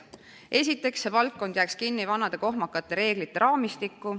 Esiteks, see valdkond jääks kinni vanade kohmakate reeglite raamistikku.